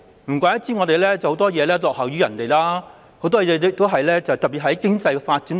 難怪香港在很多方面都落於人後，特別是經濟發展方面。